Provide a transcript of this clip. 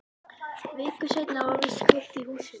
Viku seinna var víst kveikt í húsinu.